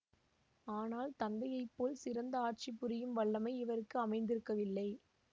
ஆனால் தந்தையைப்போல் சிறந்த ஆட்சி புரியும் வல்லமை இவருக்கு அமைந்திருக்கவில்லை